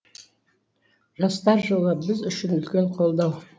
жастар жылы біз үшін үлкен қолдау